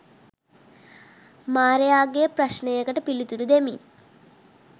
මාරයාගේ ප්‍රශ්නයකට පිළිතුරු දෙමින්